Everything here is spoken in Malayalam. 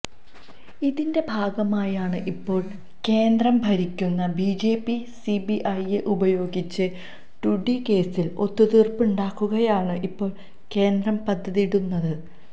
ഇതിന്റെ ഭാഗമായാണ് ഇപ്പോൾ കേന്ദ്രം ഭരിക്കുന്ന ബിജെപി സിബിഐയെ ഉപയോഗിച്ച് ടുജി കേസിൽ ഒത്തു തീർപ്പുണ്ടാക്കുകയാണ് ഇപ്പോൾ കേന്ദ്രം പദ്ധതിയിടുന്നത്